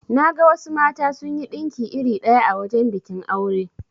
Naga wasu mata sunyi dinki iri ɗaya a wajan bikin aure.